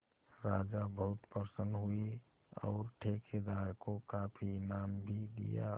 राजा बहुत प्रसन्न हुए और ठेकेदार को काफी इनाम भी दिया